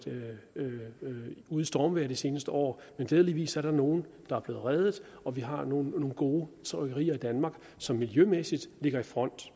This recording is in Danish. ude i stormvejr de seneste år men glædeligvis er der nogle der er blevet reddet og vi har nu nogle gode trykkerier i danmark som miljømæssigt ligger i front